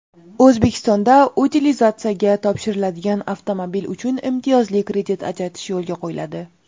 O‘zbekistonda utilizatsiyaga topshiriladigan avtomobil uchun imtiyozli kredit ajratish yo‘lga qo‘yiladi.